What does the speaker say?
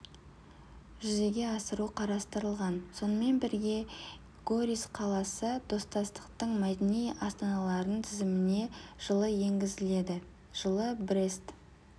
жүзеге асыру қарастырылған сонымен бірге горис қаласы достастықтың мәдени астаналарының тізіміне жылы енгізіледі жылы брест